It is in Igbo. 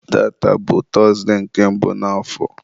tata bụ tọzụdee nke mbụ n'afọ